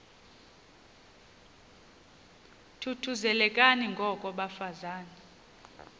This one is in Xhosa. thuthuzelekani ngoko bafazana